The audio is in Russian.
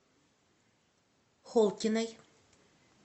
холкиной